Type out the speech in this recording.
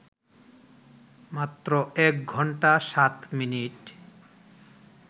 মাত্র এক ঘণ্টা ৭মিনিট